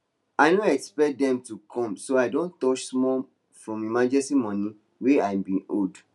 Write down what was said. i no expect dem to come so i don touch small from emergency money way i been hold